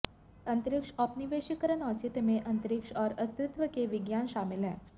अंतरिक्ष औपनिवेशीकरण औचित्य में अंतरिक्ष और अस्तित्व के विज्ञान शामिल हैं